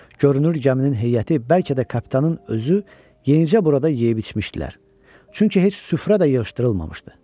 Görünür gəminin heyəti, bəlkə də kapitanın özü yenicə burada yeyib-içmişdilər, çünki heç süfrə də yığışdırılmamışdı.